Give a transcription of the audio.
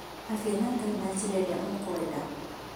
Aria na Ngai na njĩra ĩrĩa ũkwenda